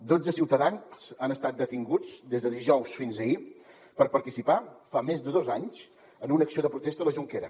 dotze ciutadans han estat detinguts des de dijous fins a ahir per participar fa més de dos anys en una acció de protesta a la jonquera